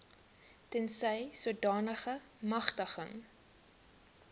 tensy sodanige magtiging